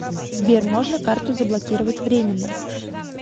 сбер можно карту заблокировать временно